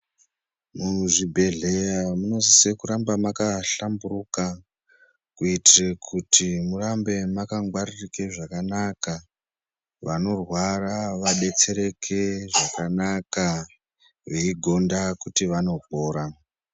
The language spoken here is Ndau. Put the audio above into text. Muzvibhehleya munosise kuramba makahlamburuka kuitire kuti murambe makangwaririke zvakanaka. Vanorwara vadetsereke zvakanaka, veigonda kuti vanopora.